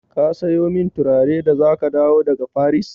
Ka sayo min turare da za ka dawo daga Faris?